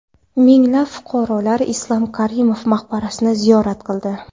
Minglab fuqarolar Islom Karimov maqbarasini ziyorat qildi .